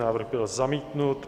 Návrh byl zamítnut.